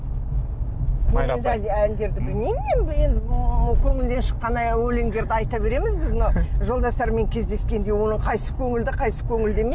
әндерді білмеймін мен енді көңілден шыққан өлендерді айта береміз біз мына жолдастармен кездескенде оның қайсысы көңілді қайсысы көңілді емес